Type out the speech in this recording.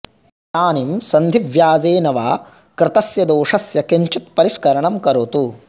इदानीं सन्धिव्याजेन वा कृतस्य दोषस्य किञ्चित् परिष्करणं करोतु